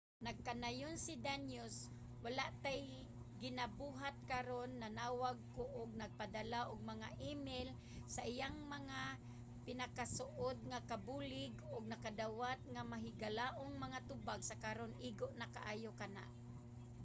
nagkanayon si danius wala tay ginabuhat karon. nanawag ko ug nagpadala og mga email sa iyang mga pinakasuod nga kabulig ug nakadawat ug mahigalaong mga tubag. sa karon igo na kaayo kana.